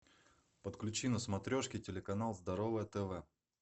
подключи на смотрешке телеканал здоровое тв